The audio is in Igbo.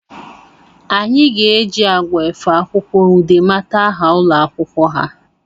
Anyị ga eji agwa efe akwụkwọ Ude mata aha ụlọ akwụkwọ ha